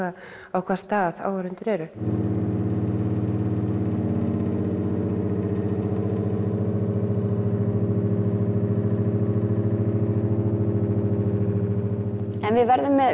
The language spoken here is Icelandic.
á hvaða stað áhorfendur eru við